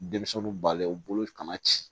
Denmisɛnninw balen u bolo kana ci